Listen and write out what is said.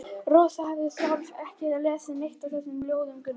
Rósa hafði sjálf ekki lesið neitt af þessum ljóðum Gunnars.